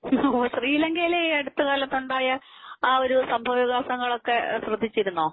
ശ്രീലങ്കയിൽ ഈ അടുത്തകാലത്ത് ഉണ്ടായ ആ ഒരു സംഭവവികാസങ്ങൾ ഒക്കെ ശ്രദ്ധിച്ചിരുന്നോ?